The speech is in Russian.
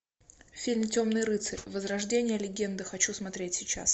фильм темный рыцарь возрождение легенды хочу смотреть сейчас